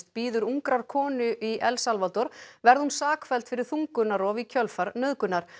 bíður ungrar konu í El Salvador verði hún sakfelld fyrir þungunarrof í kjölfar nauðgunar